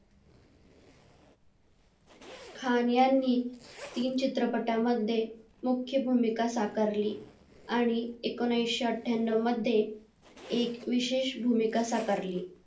खान यांनी तीन चित्रपटांमध्ये मुख्य भूमिका साकारली आणि एकोणीशे अठ्ठ्याण्णव मध्ये एक विशेष भूमिका साकारली